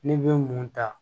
Ne bɛ mun ta